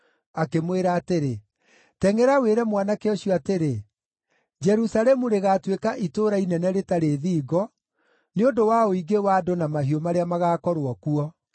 akĩmwĩra atĩrĩ, “Tengʼera wĩre mwanake ũcio atĩrĩ, ‘Jerusalemu rĩgaatuĩka itũũra inene rĩtarĩ thingo, nĩ ũndũ wa ũingĩ wa andũ na mahiũ marĩa magaakorwo kuo.’